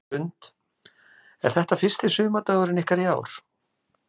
Hrund: Er þetta fyrsti sumardagurinn ykkar í ár?